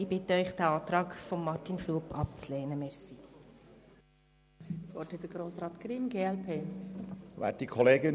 Ich bitte Sie, den Antrag von Grossrat Schlup abzulehnen.